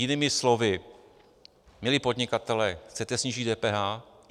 Jinými slovy, milí podnikatelé, chcete snížit DPH?